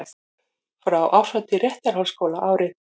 Frá árshátíð Réttarholtsskóla árið